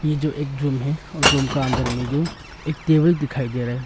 ये जो एक रूम है रूम के अंदर में जो एक टेबल दिखाई दे रही है।